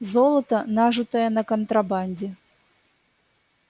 золото нажитое на контрабанде